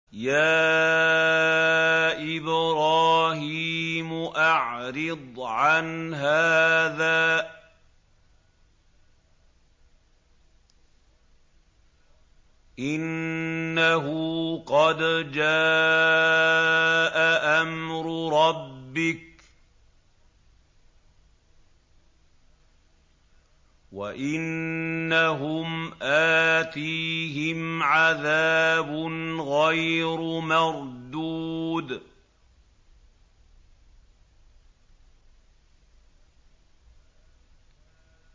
يَا إِبْرَاهِيمُ أَعْرِضْ عَنْ هَٰذَا ۖ إِنَّهُ قَدْ جَاءَ أَمْرُ رَبِّكَ ۖ وَإِنَّهُمْ آتِيهِمْ عَذَابٌ غَيْرُ مَرْدُودٍ